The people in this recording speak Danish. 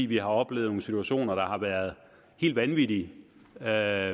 vi har oplevet nogle situationer der har været helt vanvittige og at